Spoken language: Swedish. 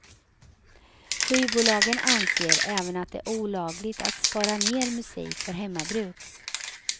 Skivbolagen anser även att det är olagligt att spara ned musik för hemmabruk.